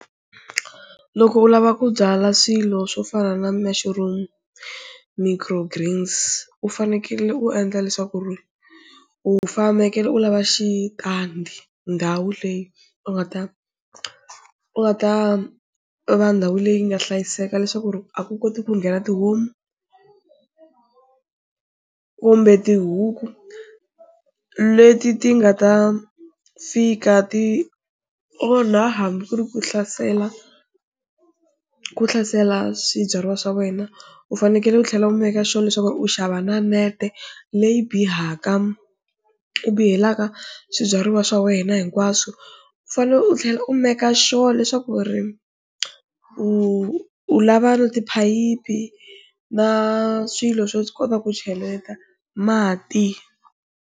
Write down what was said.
Loko u lava ku byala swilo swo fana na mushroom, microgreens u fanekele u endla leswaku ri u fanekele u lava xitandi, ndhawu leyi u nga ta ku nga ta va ndhawu leyi nga hlayiseka leswaku ri a ku koti ku nghena tihomu kumbe tihuku leti ti nga ta fika ti onha hambi ku ri ku hlasela ku hlasela swibyariwa swa wena, u fanekele u tlhela u make sure leswaku u xava na nete leyi bihaka u bihelaka swibyariwa swa wena hinkwaswo, u fanele u tlhela u make sure leswaku ri u u lava na tiphayiphi na swilo swo kota ku cheleta mati.